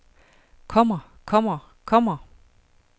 kommer kommer kommer